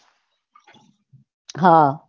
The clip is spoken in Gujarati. હા